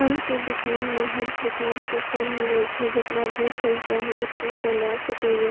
फल के दुकान में हर प्रकार के फल मिले छै जेकरा जे फल चाहि एते से ला सके या।